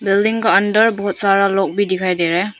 Building का अंदर बहुत सारा लोग भी दिखाई दे रहा है।